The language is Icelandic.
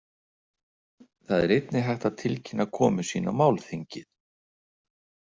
Þar er einnig hægt að tilkynna komu sína á málþingið.